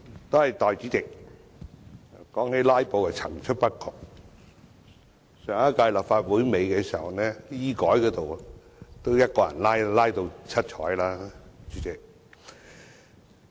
代理主席，談到"拉布"，確是層出不窮，上屆立法會尾段，醫改便是由1個人一直在"拉布"。